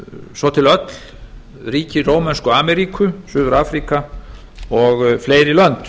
svo til öll ríki rómönsku ameríku suður afríka og fleiri lönd